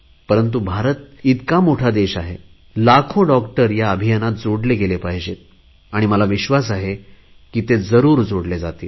परंतु भारत इतका मोठा देश आहे लाखो डॉक्टर या अभियानात जोडले गेले पाहिजेत मला विश्वास आहे जरुर जोडले जातील